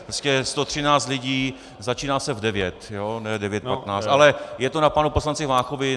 Prostě 113 lidí - začíná se v 9 hodin, ne v 9.15, ale je to na panu poslanci Váchovi.